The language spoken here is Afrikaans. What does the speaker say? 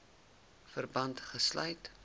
verband gesluit